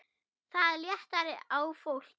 Það léttir á fólki.